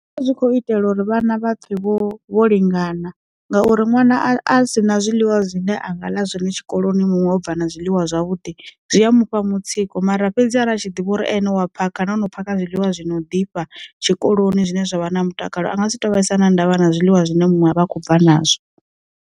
A zwi kho itelwa uri vhana vhapfe vho vho lingana, ngauri ṅwana a si na zwiḽiwa zwine anga ḽa zwone tshikoloni muṅwe ubva na zwiḽiwa zwavhuḓi zwi a mufha mutsiko mara fhedzi a tshi ḓivha uri ane wa phakha na ono paka zwiḽiwa zwi no ḓifha tshikoloni zwine zwa vha na mutakalo anga si to vhaisana ndavha na zwiḽiwa zwine muṅwe a vha khou bva nazwo.